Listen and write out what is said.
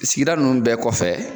Sigida nunnu bɛɛ kɔfɛ